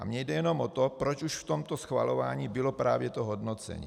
A mně jde jenom o to, proč už v tomto schvalování bylo právě to hodnocení.